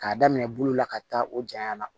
K'a daminɛ bolo la ka taa o janya na